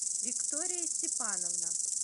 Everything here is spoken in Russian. виктория степановна